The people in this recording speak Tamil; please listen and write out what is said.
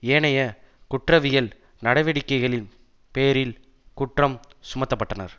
ஏனைய குற்றவியல் நடவடிக்கைகளின் பேரில் குற்றம் சுமத்தப்பட்டனர்